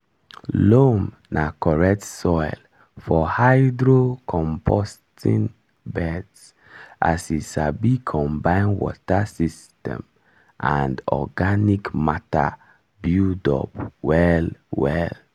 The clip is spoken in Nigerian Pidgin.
loam na correct soil for hydro-composting beds as e sabi combine water system and organic matter buildup well well.